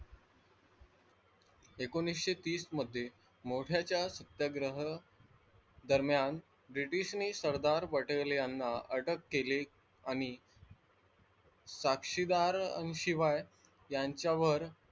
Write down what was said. एकोणवीसशे तीस मध्ये मोत्याचा सत्याग्रह दरम्यान ब्रिटिश ने सरदार पटेल याना अटक केली आणि साक्षीदार शिवाय यांच्यावर,